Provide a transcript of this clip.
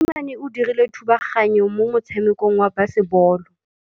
Mosimane o dirile thubaganyô mo motshamekong wa basebôlô.